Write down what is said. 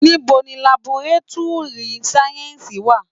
Níbo ni laboretúrì sáyẹ́ǹsì wà?